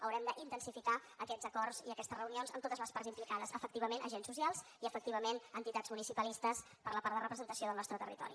haurem d’intensificar aquests acords i aquestes reunions amb totes les parts implicades efectivament agents socials i efectivament entitats municipalistes per la part de representació del nostre territori